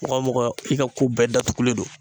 Mɔgɔ mɔgɔ i ka ko bɛɛ datugulen don